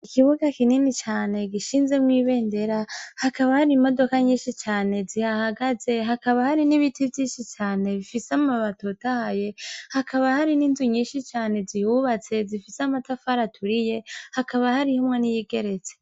Ikibuga kinini cane gishinzemwo ibe ndera hakaba hari imodoka nyinshi cane zihahagaze hakaba hari n'ibiti vyinshi cane bifise amabatotahye hakaba hari n'inzu nyinshi cane zihubatse zifise amatafara aturiye hakaba harihumwo n'iyigeretse.